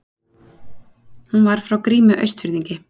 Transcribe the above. Hún var frá Grími Austfirðingi.